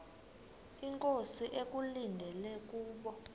inkosi ekulindele kubo